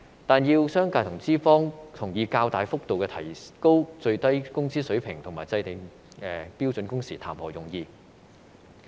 但是，要商界和資方同意較大幅度提高最低工資水平和制訂標準工時，談何容易。